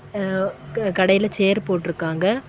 அஅ கடைல சேரு போட்ருக்காங்க.